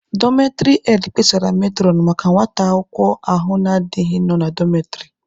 Dọmetịrị hed kpesara metụrọn maka nwata akwụkwọ ahụ na-adighị nọ na dọmetịrị.